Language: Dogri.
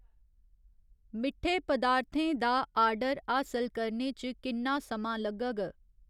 मिट्ठे पदार्थें दा आर्डर हासल करने च किन्ना समां लग्गग ?